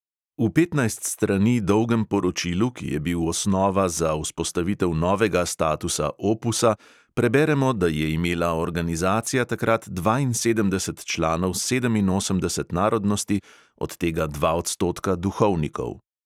V petnajst strani dolgem poročilu, ki je bil osnova za vzpostavitev novega statusa opusa, preberemo, da je imela organizacija takrat dvainsedemdeset članov sedeminosemdeset narodnosti, od tega dva odstotka duhovnikov.